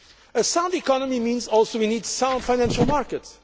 A sound economy also means we need sound financial markets.